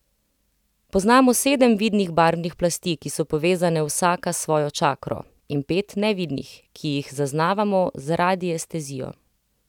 Poznamo sedem vidnih barvnih plasti, ki so povezane vsaka s svojo čakro, in pet nevidnih, ki jih zaznavamo z radiestezijo.